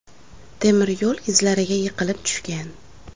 temir yo‘l izlariga yiqilib tushgan.